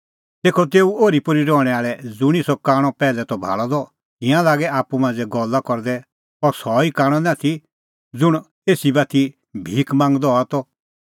तेखअ तेऊ ओरीपोरी रहणैं आल़ै ज़ुंणी सह कांणअ पैहलै त भाल़अ द तिंयां लागै आप्पू मांझ़ै गल्ला करदै अह सह ई कांणअ निं आथी ज़ुंण एसी बाती भिख मांगदअ हआ त